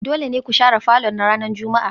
Dole ne ku share falon ranar Juma'a